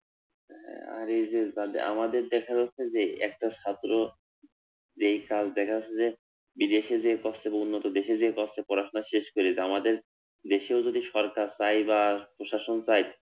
আর এইযে আমাদের দেখা যাচ্ছে যে একটা সতেরো যেই সাল দেখা যাচ্ছে যে বিদেশে যেয়ে কষ্টে অথবা অন্য দেশে যেয়ে কষ্টে পড়াশোনা শেষ করে, আমাদের দেশেও যদি সরকার চায় বা প্রশাসন চায়